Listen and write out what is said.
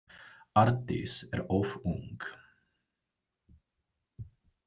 Arndís er of ung.